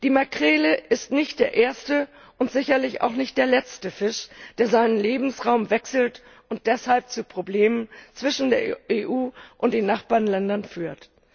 Die Makrele ist nicht der erste und sicherlich auch nicht der letzte Fisch, der seinen Lebensraum wechselt und deshalb zu Problemen zwischen der EU und den Nachbarländern führt.